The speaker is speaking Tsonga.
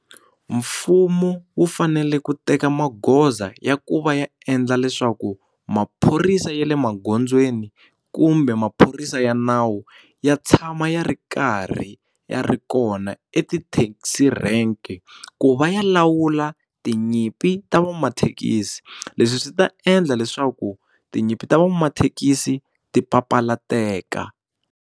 Mfumo wu fanele ku teka magoza ya ku va ya endla leswaku maphorisa ya le magondzweni kumbe maphorisa ya nawu ya tshama ya ri karhi ya ri kona etithekisi rank ku va ya lawula tinyimpi ta van'wamathekisi leswi swi ta endla leswaku tinyimpi ta van'wamathekisi ti papalateka.